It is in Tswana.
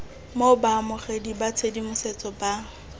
mo baamogeding ba tshedimosetso ba